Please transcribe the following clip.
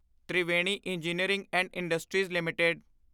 Triveni engineering and industries LTD